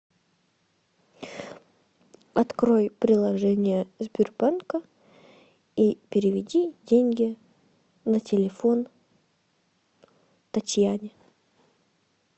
открой приложение сбербанка и переведи деньги на телефон татьяне